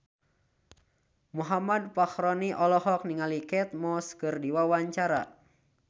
Muhammad Fachroni olohok ningali Kate Moss keur diwawancara